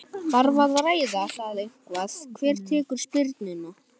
Þarf að ræða það eitthvað hver tekur spyrnuna?